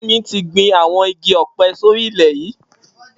Femi ti gbin awọn igi ọ̀pẹ̀ sóri ilè yi